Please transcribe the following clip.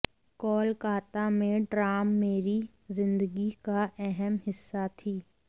कोलकाता में ट्राम मेरी जिंदगी का अहम हिस्सा थी